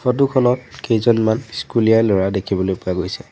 Photo খনত কেইজনমান স্কুলীয়া ল'ৰা দেখিবলৈ পোৱা গৈছে।